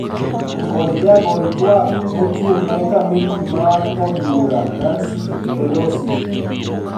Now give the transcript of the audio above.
Kod jagol twak mochung` ne komiti mar od bura Nancy Pelosi